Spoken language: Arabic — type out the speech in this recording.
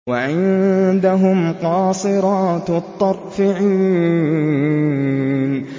وَعِندَهُمْ قَاصِرَاتُ الطَّرْفِ عِينٌ